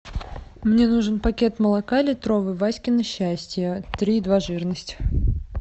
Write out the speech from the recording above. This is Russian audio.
мне нужен пакет молока литровый васькино счастье три и два жирность